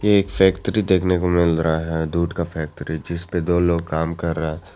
एक फैक्ट्री देखने को मिल रहा है दूध का फैक्ट्री जिस पे दो लोग काम कर रहा है।